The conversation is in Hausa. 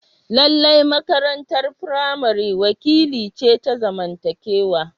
Lallai makarantar firamare wakili ce ta zamantakewa.